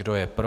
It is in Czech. Kdo je pro?